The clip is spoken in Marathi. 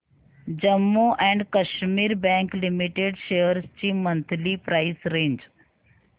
Jammu and Kashmir bank limited shares ची मंथली प्राइस रेंज